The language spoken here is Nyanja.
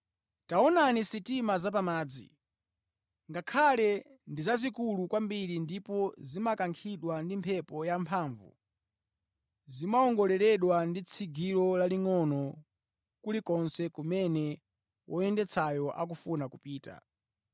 Taonani sitima zapamadzi. Ngakhale ndi zazikulu kwambiri ndipo zimakankhidwa ndi mphepo yamphamvu, zimawongoleredwa ndi tsigiro lalingʼono kulikonse kumene woyendetsayo akufuna kupita.